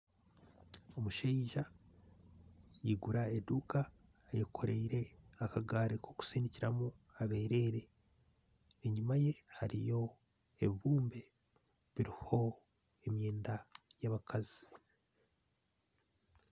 Omushaija yaigura eduuka, ayekoreire akagaari k'okusindikiramu abereere. Enyima ye hariyo ebibumbe biriho emyenda y'abakazi.